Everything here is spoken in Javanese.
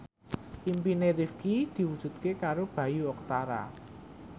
impine Rifqi diwujudke karo Bayu Octara